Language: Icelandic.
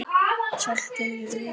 Saltur í augum.